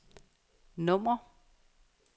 nummer